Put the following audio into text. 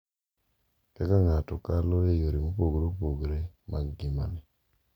kaka ng’ato kalo e yore mopogore opogore mag ngimane,